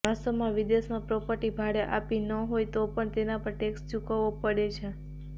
વાસ્તવમાં વિદેશમાં પ્રોપર્ટી ભાડે આપી ન હોય તો પણ તેના પર ટેક્સ ચૂકવવો પડે છે